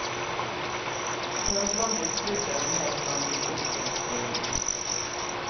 Tørrblandet krydder og mel blandes inn før speing.